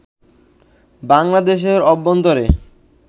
বাংলাদেশের অভ্যন্তরে